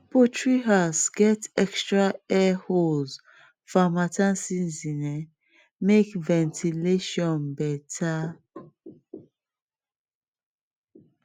poultry house um get extra air um holes for harmattan um season make ventilation better